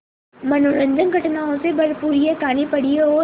मनोरंजक घटनाओं से भरपूर यह कहानी पढ़िए और